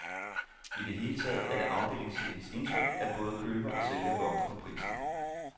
I det hele taget er det afdelingschefens indtryk, at både køber og sælger vogter på prisen.